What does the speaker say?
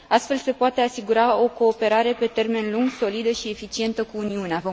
Astfel, se poate asigura o cooperare pe termen lung, solidă și eficientă cu Uniunea.